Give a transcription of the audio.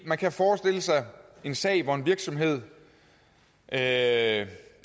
man kan forestille sig en sag hvor en virksomhed af